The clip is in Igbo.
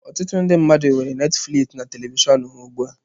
Ọtụtụ ndị mmadụ nwere Netifliks na telivishọn ha ugbu a.